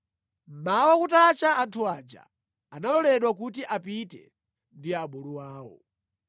Mmawa kutacha anthu aja analoledwa kuti apite ndi abulu awo.